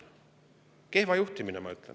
Kehva juhtimine, ma ütlen.